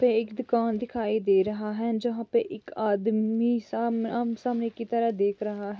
यहाँ पे एक दुकान दिखाई दे रहा है जहां पे एक आदमी सामने की तरफ देख रह है